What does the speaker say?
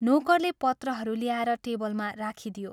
नोकरले पत्रहरू ल्याएर टेबलमा राखिदियो।